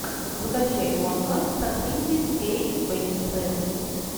закачай гонка с актрисой кейт бекинсейл